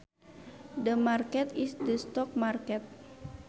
The market is the stock market